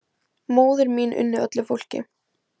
Móðir mín unni öllu fólki.